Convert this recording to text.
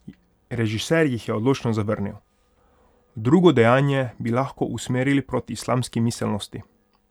Režiser jih je odločno zavrnil: "Drugo dejanje bi lahko usmerili proti islamski miselnosti.